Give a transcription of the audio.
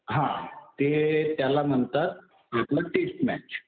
हा. ते त्याला म्हणतात आपलं टेस्ट मॅच.